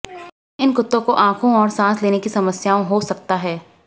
इन कुत्तों को आंखों और सांस लेने की समस्याओं हो सकता है